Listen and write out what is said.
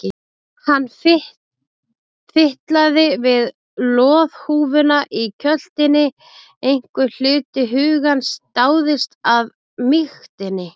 Hann fitlaði við loðhúfuna í kjöltunni, einhver hluti hugans dáðist að mýktinni.